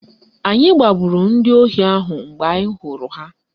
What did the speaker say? Anyị gbagburu ndị ohi ahụ mgbe anyị hụrụ ha